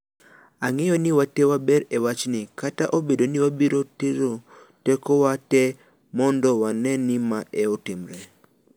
ang'eyo ni watee waber e wach ni. kata obedo ni wabiro tero teko wa tee mondo wane ni mae otimre